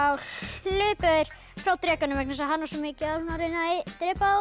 hlupu þeir frá drekanum vegna þess að hann var svo mikið að reyna að drepa þá